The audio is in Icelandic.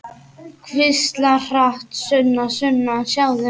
Hvíslar hratt: Sunna, Sunna, sjáðu!